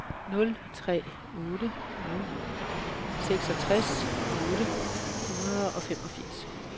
nul tre otte nul seksogtres otte hundrede og femogfirs